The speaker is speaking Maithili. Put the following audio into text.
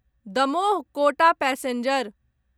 दमोह कोटा पैसेंजर